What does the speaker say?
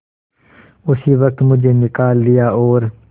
उसी वक्त मुझे निकाल दिया और